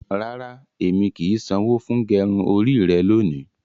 Rárá, ẹmi kí í ṣanwọ fún gẹrún orí rẹ̀ lóni.